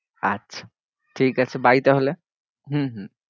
আচ্ছা ঠিক আছে bye তাহলে হম হম ।